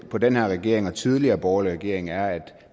på den her regering og tidligere borgerlige regeringer er at